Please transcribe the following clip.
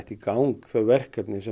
í gang þau verkefni sem